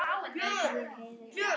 Ég heyrði.